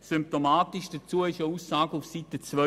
Symptomatisch dazu ist eine Aussage auf Seite 32: